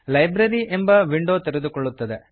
library library ಎಂಬ window ತೆರೆದುಕೊಳ್ಳುತ್ತದೆ